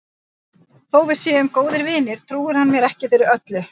Þó að við séum góðir vinir trúir hann mér ekki fyrir öllu.